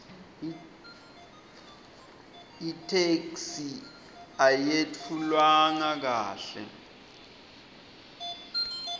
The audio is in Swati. itheksthi ayetfulwanga kahle